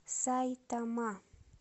сайтама